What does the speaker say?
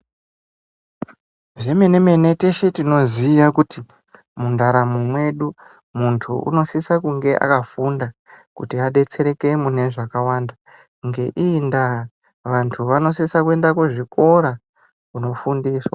Zvemene mene teshe tinoziya kuti mundaramo mwedu muntu unosise kunge akafunda kuti adetsereke mune zvakawanda ngeii nda vantu vanosisa kuenda kuzvikora kuno fundiswa